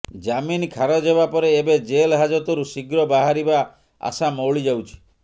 ଜାମିନ ଖାରଜ ହେବା ପରେ ଏବେ ଜେଲ ହାଜତରୁ ଶିଘ୍ର ବାହାରିବା ଆଶା ମଉଳି ଯାଉଛି